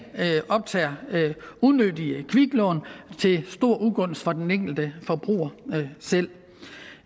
optager unødige kviklån til stor ugunst for den enkelte forbruger selv